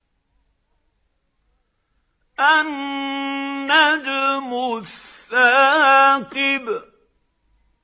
النَّجْمُ الثَّاقِبُ